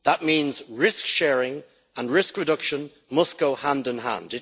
That means risk sharing and risk reduction must go hand in hand.